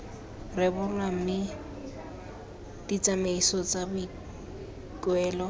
rebolwa mme ditsamaiso tsa boikuelo